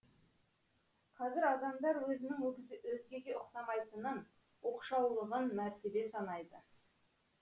қазір адамдар өзінің өзгеге ұқсамайтынын оқшаулығын мәртебе санайды